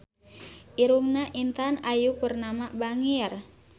Irungna Intan Ayu Purnama bangir